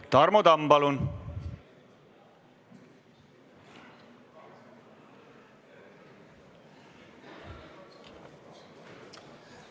Tarmo Tamm, palun!